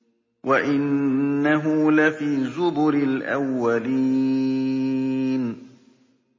وَإِنَّهُ لَفِي زُبُرِ الْأَوَّلِينَ